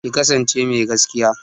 Ki kasance mai gaskiya!